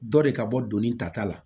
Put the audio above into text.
Dɔ de ka bɔ donni ta ta la